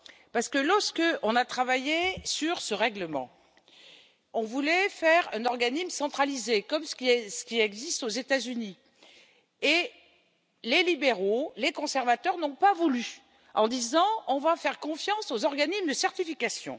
Parce que lorsque nous avons travaillé sur ce règlement, nous voulions faire un organisme centralisé, comme ce qui existe aux États Unis, mais les libéraux et les conservateurs n'ont pas voulu en disant on va faire confiance aux organismes de certification.